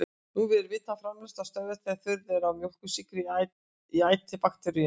Nú var vitað að framleiðsla stöðvast þegar þurrð er á mjólkursykri í æti bakteríunnar.